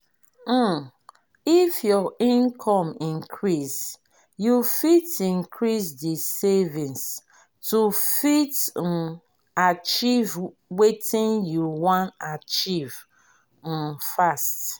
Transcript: um if your income increase you fit increase di savings to fit um achieve wetin you wan achieve um fast